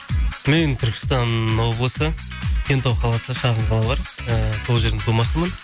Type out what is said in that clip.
мен түркістан облысы кентау қаласы шағын қала бар ыыы сол жердің тумасымын